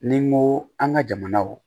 Ni n ko an ka jamanaw